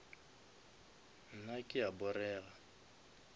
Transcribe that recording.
nna ke a porega